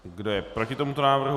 Kdo je proti tomuto návrhu?